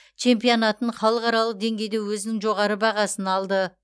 чемпионатын халықаралық деңгейде өзінің жоғары бағасын алды